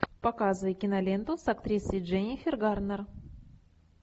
показывай киноленту с актрисой дженнифер гарнер